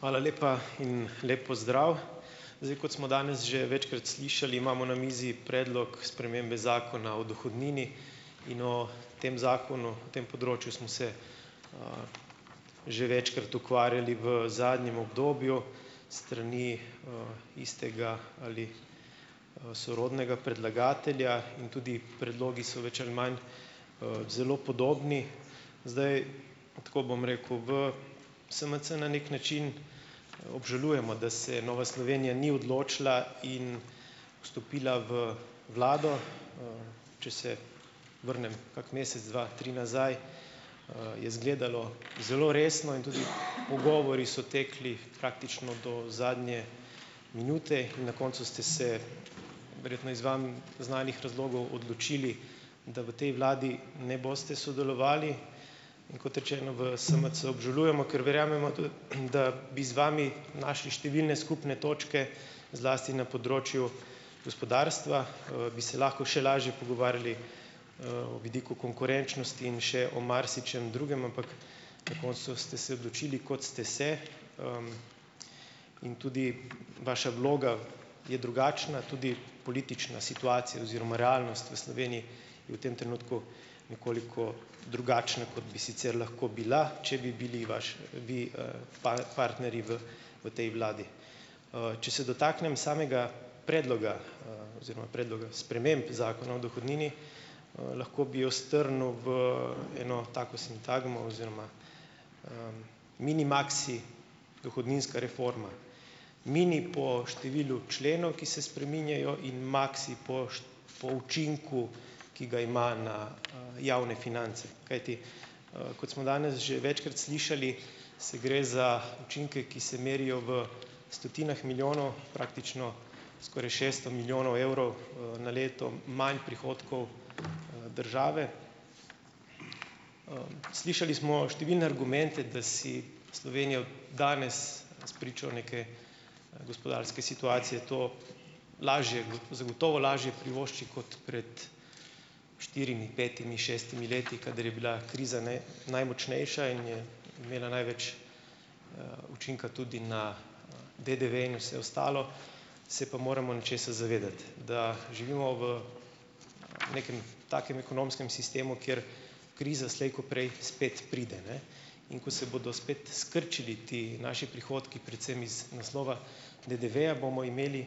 Hvala lepa in lep pozdrav! Zdaj, kot smo danes že večkrat slišali, imamo na mizi predlog spremembe Zakona o dohodnini. In o tem zakonu, tem področju smo se, že večkrat ukvarjali v zadnjem obdobju s strani, istega ali, sorodnega predlagatelja, in tudi predlogi so več ali manj, zelo podobni. Zdaj. Tako bom rekel, v SMC na neki način obžalujemo, da se Nova Slovenija ni odločila in vstopila v vlado. Če se vrnem kak mesec, dva, tri nazaj, je izgledalo zelo resno in tudi pogovori so tekli praktično do zadnje minute in na koncu ste se, verjetno iz vam znanih razlogov, odločili, da v tej vladi ne boste sodelovali. In kot rečeno, v SMC obžalujemo, ker verjamemo, da bi z vami našli številne skupne točke. Zlasti na področju gospodarstva, bi se lahko še lažje pogovarjali, o vidiku konkurenčnosti in še o marsičem drugem, ampak na koncu ste se odločili, kot ste se, in tudi vaša vloga je drugačna, tudi politična situacija oziroma realnost v Sloveniji je v tem trenutku nekoliko drugačna, kot bi sicer lahko bila, če bi bili vaš, vi, partnerji v v tej vladi. Če se dotaknem samega predloga, oziroma predloga sprememb Zakona o dohodnini, lahko bi jo strnil v eno tako sintagmo oziroma mini-maksi dohodninska reforma, mini po številu členov, ki se spreminjajo, in maksi po po učinku, ki ga ima na, javne finance. Kajti, kot smo danes že večkrat slišali, se gre za učinke, ki se merijo v stotinah milijonov, praktično skoraj šeststo milijonov evrov, na leto manj prihodkov, države. Slišali smo številne argumente, da si Slovenija danes spričo neke gospodarske situacije to lažje zagotovo lažje privošči kot pred štirimi, petimi, šestimi leti, kadar je bila kriza ne najmočnejša in je imela največ, učinka tudi na DDV in vse ostalo. Se pa moramo nečesa zavedati - da živimo v nekem takem ekonomskem sistemu, kjer kriza slej ko prej spet pride, ne. In ko se bodo spet skrčili ti naši prihodki, predvsem iz naslova DDV-ja, bomo imeli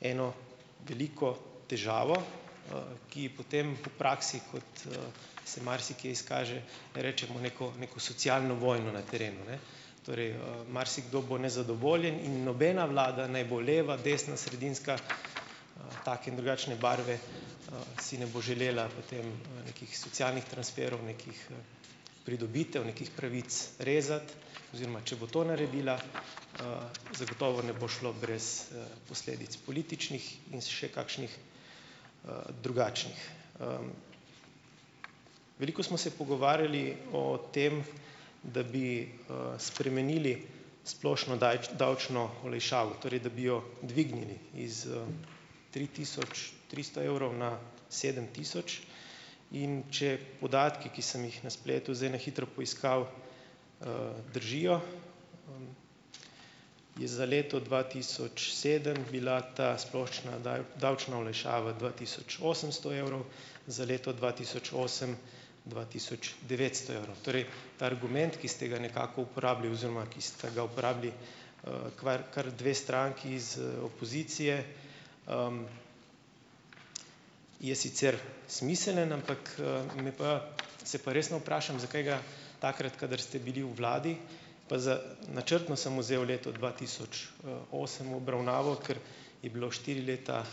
eno veliko težavo, ki potem v praksi, kot, se marsikje izkaže, rečemo neko neko socialno vojno na terenu, ne. Torej, marsikdo bo nezadovoljen in nobena vlada, naj bo leva, desna, sredinska, take in drugačne barve, si ne bo želela potem nekih socialnih transferov, nekih pridobitev, nekih pravic rezati, oziroma če bo to naredila, zagotovo ne bo šlo brez, posledic političnih in še kakšnih, drugačnih. Veliko smo se pogovarjali o tem, da bi, spremenili splošno davčno olajšavo, torej da bi jo dvignili iz, tri tisoč tristo evrov na sedem tisoč, in če podatki, ki sem jih na spletu zdaj na hitro poiskal, držijo, je za leto dva tisoč sedem bila ta splošna davčna olajšava dva tisoč osemsto evrov, za leto dva tisoč osem dva tisoč devetsto evrov. Torej ta argument, ki ste ga nekako uporabili oziroma ki sta ga uporabili, kvar kar dve stranki iz, opozicije, je sicer smiseln, ampak, me pa, se pa resno vprašam, zakaj ga takrat, kadar ste bili v vladi, pa za načrtno sem vzel leto dva tisoč, osem v obravnavo, ker je bilo štiri leta,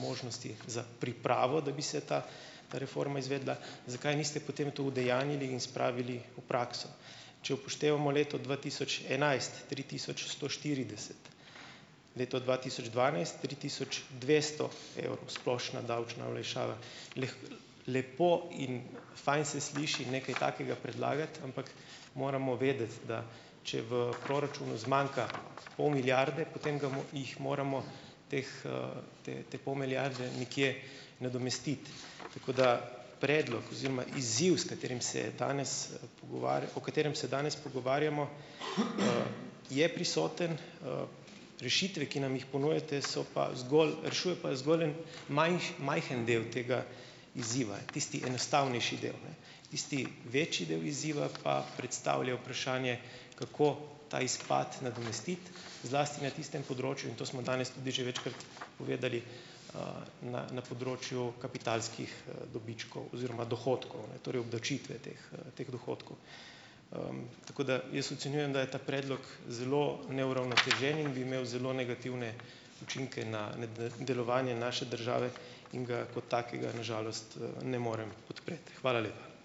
možnosti za pripravo, da bi se ta reforma izvedla, zakaj niste potem to udejanjili in spravili v prakso? Če upoštevamo leto dva tisoč enajst, tri tisoč sto štirideset, leto dva tisoč dvanajst tri tisoč dvesto evrov splošna davčna olajšava. lepo in fajn se sliši nekaj takega predlagati, ampak moramo vedeti, da če v proračunu zmanjka pol milijarde, potem ga jih moramo teh, te te pol milijarde nekje nadomestiti. Tako da predlog oziroma izziv, s katerim se danes o katerem se danes pogovarjamo, je prisoten, rešitve, ki nam jih ponujate, so pa zgolj, rešujejo pa zgolj en majhen del tega izziva, tisti enostavnejši del, ne. Tisti večji del izziva pa predstavlja vprašanje, kako ta izpad nadomestiti, zlasti na tistem področju, in to smo danes tudi že večkrat povedali, na na področju kapitalskih, dobičkov oziroma dohodkov, ne, torej obdavčitve teh, teh dohodkov. Tako da jaz ocenjujem, da je ta predlog zelo neuravnotežen in bi imel zelo negativne učinke na na delovanje naše države, in ga kot takega na žalost, ne morem podpreti. Hvala lepa.